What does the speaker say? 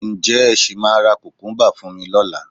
Ǹjẹ́ ẹ sì máa ra kùkúńbà fún mi lọ́la?